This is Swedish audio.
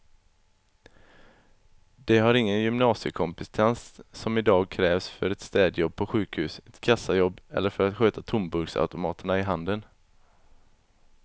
De har ingen gymnasiekompetens som i dag krävs för ett städjobb på sjukhus, ett kassajobb eller för att sköta tomburksautomaterna i handeln.